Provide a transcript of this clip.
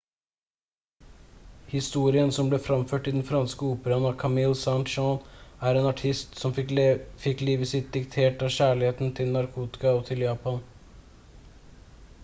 historien som ble framført i den franske operaen av camille saint-saens er av en artist «som fikk livet sitt diktert av kjærlighet til narkotika og til japan»